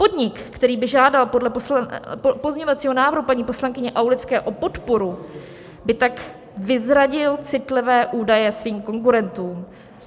Podnik, který by žádal podle pozměňovacího návrhu paní poslankyně Aulické o podporu, by tak vyzradil citlivé údaje svým konkurentům.